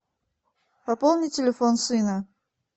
пополни телефон сына